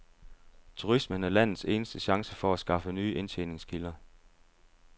Turismen er landets eneste chance for at skaffe nye indtjeningskilder.